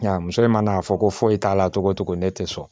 Nka muso in mana a fɔ ko foyi t'a la togo o togo ne tɛ sɔn